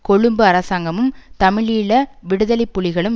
கொழும்பு அரசாங்கமும் தமிழீழ விடுதலை புலிகளும்